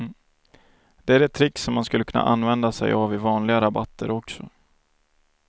Det är ett trick som man skulle kunna använda sig av i vanliga rabatter också.